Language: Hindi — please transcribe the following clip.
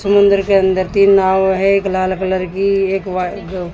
समुद्र के अंदर तीन नव है। एक लाल कलर की एक व्हाइ--